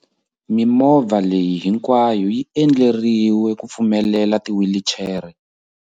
Mimovha leyi hinkwayo yi endleriwe ku pfumelela tiwhilichere.